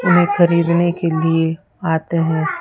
इन्हें ख़रीदने के लिए आते हैं।